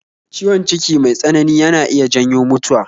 Ciwon ciki mai tsanani yana iya janyo mutuwa